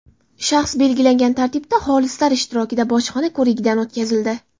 shaxs belgilangan tartibda xolislar ishtirokida bojxona ko‘rigidan o‘tkazildi.